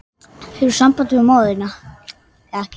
Hefurðu samband við móður þína?